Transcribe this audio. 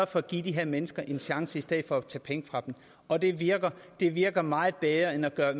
for at give de her mennesker en chance i stedet for at tage penge fra dem og det virker det virker meget bedre end at gøre